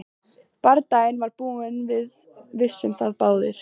Bardaginn var búinn og við vissum það báðir.